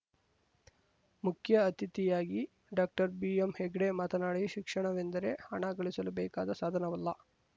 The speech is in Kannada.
ಮುಖ್ಯ ಅತಿಥಿಯಾಗಿ ಡಾಕ್ಟರ್ಬಿಎಂಹೆಗ್ಡೆ ಮಾತನಾಡಿ ಶಿಕ್ಷಣವೆಂದರೆ ಹಣ ಗಳಿಸಲು ಬೇಕಾದ ಸಾಧನವಲ್ಲ